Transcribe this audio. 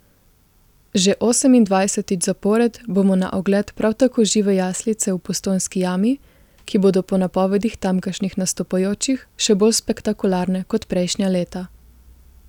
Že osemindvajsetič zapored bodo na ogled prav tako žive jaslice v Postojnski jami, ki bodo po napovedih tamkajšnjih nastopajočih še bolj spektakularne kot prejšnja leta.